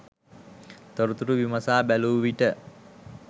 තොරතුරු විමසා බැලූ විට